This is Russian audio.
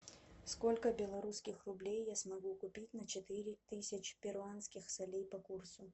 сколько белорусских рублей я смогу купить на четыре тысячи перуанских солей по курсу